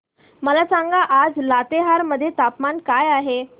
मला सांगा आज लातेहार मध्ये तापमान काय आहे